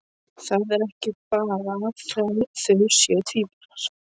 Það er ekki bara að þau séu tvíburar.